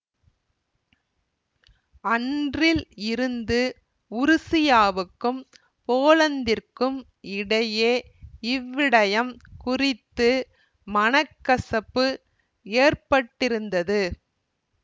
அன்றில் இருந்து உருசியாவுக்கும் போலந்திற்கும் இடையே இவ்விடயம் குறித்து மனக்கசப்பு ஏற்பட்டிருந்தது